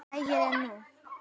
lægri en nú.